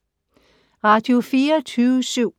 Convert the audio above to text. Radio24syv